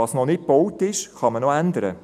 «Was nicht gebaut ist, kann man ändern!».